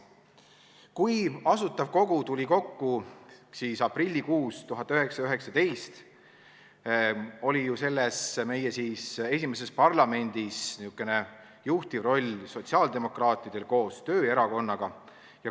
Kui Asutav Kogu tuli kokku aprillikuus 1919, oli meie esimeses parlamendis juhtiv roll sotsiaaldemokraatidel koos Eesti Tööerakonnaga.